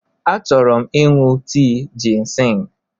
Achọrọ m ịṅụ tii jịnsịng.